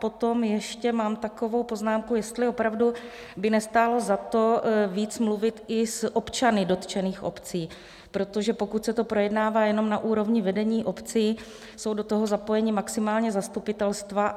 Potom ještě mám takovou poznámku, jestli opravdu by nestálo za to víc mluvit i s občany dotčených obcí, protože pokud se to projednává jenom na úrovni vedení obcí, jsou do toho zapojena maximálně zastupitelstva.